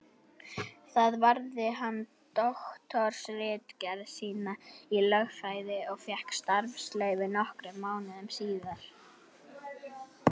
Þar varði hann doktorsritgerð sína í lögfræði og fékk starfsleyfi nokkrum mánuðum síðar.